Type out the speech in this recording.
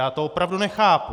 Já to opravdu nechápu.